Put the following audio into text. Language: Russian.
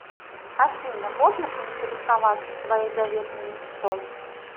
афина можно поинтересоваться твоей заветной мечтой